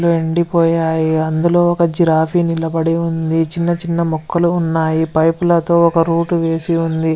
ఒక అది పోయి అదో ఒక జిరాఫీ నిలబడి ఉంది . చిన్న చిన్న మోకాలు ఉన్నాయ్. పైప్ లతో రూట్ వేసి ఉన్నాది.